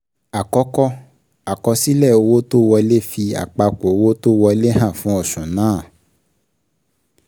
Àkọ́kọ́, àkọsílẹ̀ owó tó wolẹ́ fi àpapọ̀ owó tó wọlé hàn fún oṣù náà.